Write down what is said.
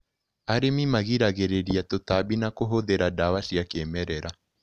Arĩmi magiragĩrĩria tũtambi na kũhũthĩra ndawa cia kĩmerera.